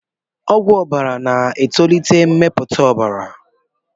Ọgwụ ọbara na-etolite mmepụta ọbara.